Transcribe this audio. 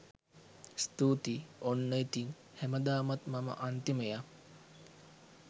ස්තුතියි ඔන්න ඉතින් හැමදාමත් මම අන්තිමයා.